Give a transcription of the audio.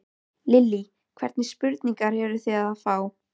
Lillý: Hvernig spurningar eruð þið að fá?